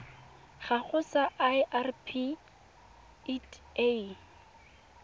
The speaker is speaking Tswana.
gago sa irp it a